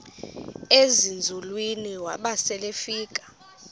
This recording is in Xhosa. ezinzulwini waba selefika